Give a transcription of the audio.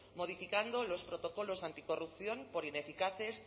modificando los protocolos anticorrupción por ineficaces